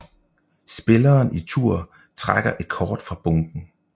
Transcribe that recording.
Spilleren i tur trækker et kort fra bunken